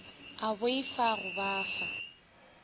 a boifa go ba fa